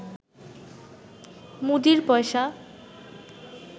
মুদীর পয়সা